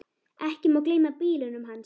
Ekki má gleyma bílunum hans.